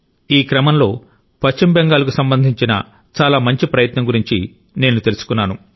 ఈ క్రమంలో పశ్చిమ బెంగాల్కు సంబంధించిన చాలా మంచి ప్రయత్నం గురించి నేను తెలుసుకున్నాను